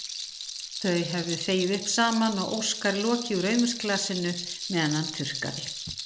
Þau höfðu þvegið upp saman og Óskar lokið úr rauðvínsglasinu meðan hann þurrkaði.